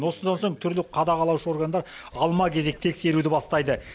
осыдан соң түрлі қадағалаушы органдар алма кезек тексеруді бастайды